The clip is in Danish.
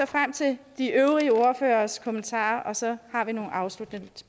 frem til de øvrige ordføreres kommentarer og så har vi nogle afsluttende